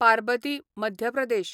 Parbati Madhya Pradesh